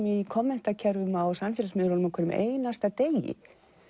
í á samfélagsmiðlunum á hverjum einasta degi